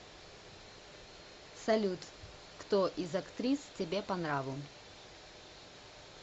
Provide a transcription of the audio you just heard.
салют кто из актрис тебе по нраву